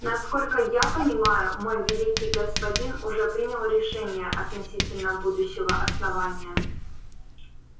насколько я понимаю мой великий господин уже принял решение относительно будущего основания